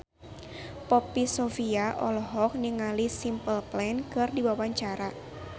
Poppy Sovia olohok ningali Simple Plan keur diwawancara